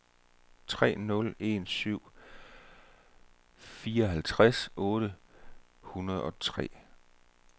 tre nul en syv fireoghalvtreds otte hundrede og tre